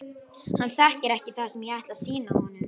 Hann þekkir ekki það sem ég ætla að sýna honum.